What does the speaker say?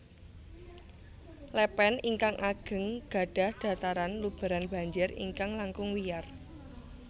Lèpèn ingkang ageng gadhah dhataran lubèran banjir ingkang langkung wiyar